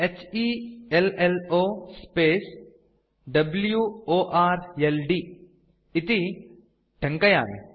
h e l l o w o r l d इति टङ्कयामि